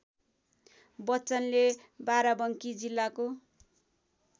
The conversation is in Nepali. बच्चनले बाराबङ्की जिल्लाको